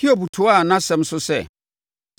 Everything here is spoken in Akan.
Hiob toaa nʼasɛm so sɛ,